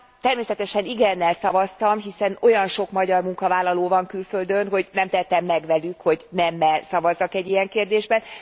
Természetesen igennel szavaztam, hiszen olyan sok magyar munkavállaló van külföldön, hogy nem tehetem meg velük, hogy nemmel szavazzak egy ilyen kérdésben.